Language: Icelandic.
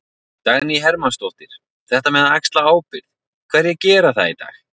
Dagný Hermannsdóttir: Þetta með að axla ábyrgð, hverjir gera það í dag?